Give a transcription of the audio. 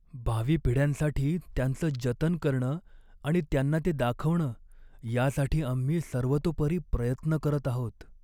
भावी पिढ्यांसाठी त्यांचं जतन करणं आणि त्यांना ते दाखवणं यासाठी आम्ही सर्वतोपरी प्रयत्न करत आहोत.